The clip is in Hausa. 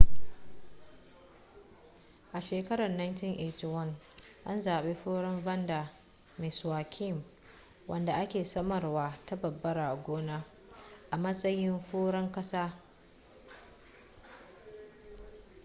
a shekarar 1981 an zaɓi furen vanda miss joaquim wanda ake samarwa ta barbara a gona a matsayin furen ƙasa